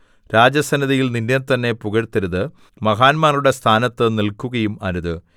രാജസന്നിധിയിൽ നിന്നെത്തന്നെ പുകഴ്ത്തരുത് മഹാന്മാരുടെ സ്ഥാനത്ത് നില്‍ക്കുകയും അരുത്